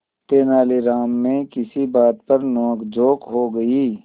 तेनालीराम में किसी बात पर नोकझोंक हो गई